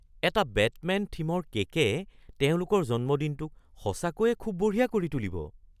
এটা বেটমেন-থিমৰ কে'কে তেওঁলোকৰ জন্মদিনটোক সঁচাকৈয়ে খুব বঢ়িয়া কৰি তুলিব!